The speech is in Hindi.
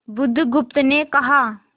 बुधगुप्त ने कहा